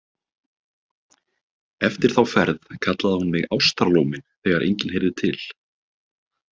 Eftir þá ferð kallaði hún mig Ástarlóminn þegar enginn heyrði til.